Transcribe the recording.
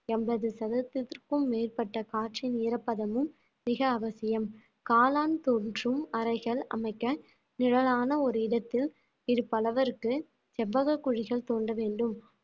எண்பது சதவிகிதத்திற்கும் மேற்பட்ட காற்றின் ஈரப்பதமும் மிக அவசியம் காளான் தோன்றும் அறைகள் அமைக்க நிழலான ஒரு இடத்தில் இடுப்பு அளவிற்கு செவ்வக குழிகள் தோண்ட வேண்டும்